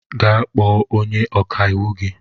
Gaa kpọọ onye ọkàiwu gị!